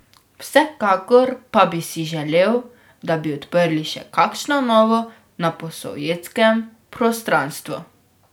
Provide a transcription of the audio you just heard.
Vsekakor pa bi si želel, da bi odprli še kakšno novo na posovjetskem prostranstvu.